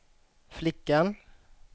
flickan